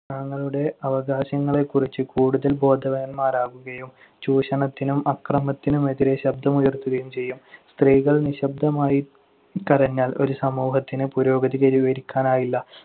തങ്ങളുടെ അവകാശങ്ങളെക്കുറിച്ച് കൂടുതൽ ബോധവാന്മാരാകുകയും ചൂഷണത്തിനും അക്രമത്തിനുമെതിരെ ശബ്ദമുയർത്തുകയും ചെയ്യും. സ്ത്രീകൾ നിശ്ശബ്ദമായി കരഞ്ഞാൽ ഒരു സമൂഹത്തിന് പുരോഗതി കൈവരിക്കാനാവില്ല.